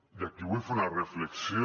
i aquí vull fer una reflexió